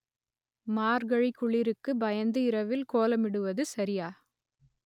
மார்கழி குளிருக்கு பயந்து இரவில் கோலமிடுவது சரியா